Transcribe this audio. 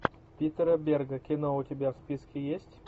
питера берга кино у тебя в списке есть